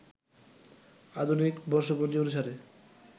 আধুনিক বর্ষপঞ্জি অনুসারে